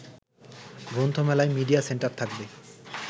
গ্রন্থমেলায় media centre থাকবে